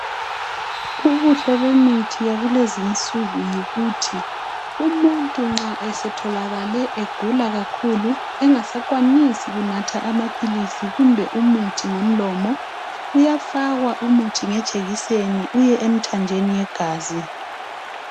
Ubuhle bemithi yakulezinsuku yikuthi umuntu nxa esetholakale egula kakhulu engasakwanisi kunatha amaphilisi kumbe umuthi ngomlomo uyafakwa umuthi ngejekiseni uye emthanjeni yegazi.